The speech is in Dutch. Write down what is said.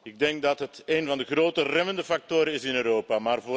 Ik denk dat het een van de grote remmende factoren is in Europa.